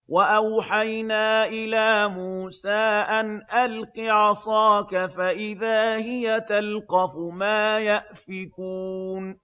۞ وَأَوْحَيْنَا إِلَىٰ مُوسَىٰ أَنْ أَلْقِ عَصَاكَ ۖ فَإِذَا هِيَ تَلْقَفُ مَا يَأْفِكُونَ